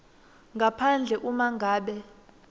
ngaphandle uma ngabe